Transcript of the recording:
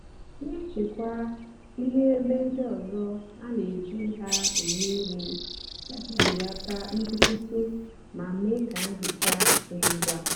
nà-èchekwa íhè ébé dị nsó á nà-èjí hà èmè íhè íjì belata nkwụsịtụ mà mée kà nhicha dị ngwa.